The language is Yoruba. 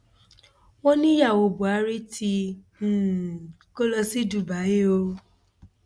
wọn ní ìyàwó buhari tí um kò lọ sí dubai o